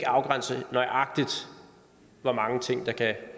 afgrænse hvor mange ting der kan